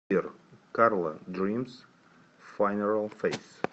сбер карла дримс фанерал фейс